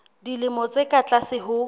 dilemo tse ka tlase ho